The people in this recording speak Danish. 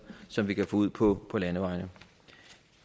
som vi kan få ud på landevejene